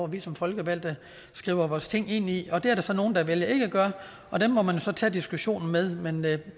vi som folkevalgte skriver vores ting ind i det er der så nogle der vælger ikke at gøre og dem må man så tage diskussionen med men med